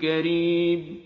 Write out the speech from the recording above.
كَرِيمٌ